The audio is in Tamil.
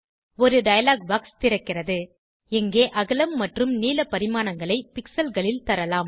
ஒரு டயலாக் பாக்ஸ் திறக்கிறது இங்கே அகலம் மற்றும் நீள பரிமாணங்களை pixelகளில் தரலாம்